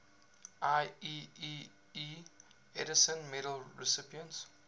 ieee edison medal recipients